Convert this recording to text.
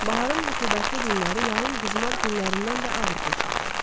Baharın rütubətli günləri yayın qızmar günlərindən də ağır keçirdi.